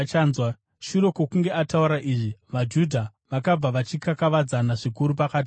Shure kwokunge ataura izvi, vaJudha vakabva, vachikakavadzana zvikuru pakati pavo.